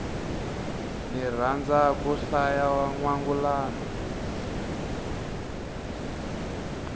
ni rhandza ku hlaya nwangulano